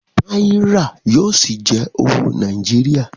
Náírà yóò ṣì jẹ́ owó Nàìjíríà